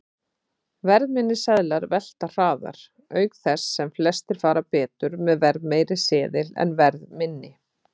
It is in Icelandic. Verðminni seðlar velta hraðar, auk þess sem flestir fara betur með verðmeiri seðil en verðminni.